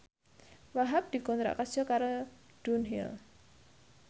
Wahhab dikontrak kerja karo Dunhill